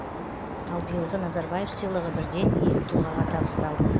ал биылғы назарбаев сыйлығы бірден екі тұлғаға табысталды